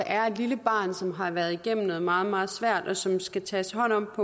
er et lille barn som har været igennem noget meget meget svært og som der skal tages hånd om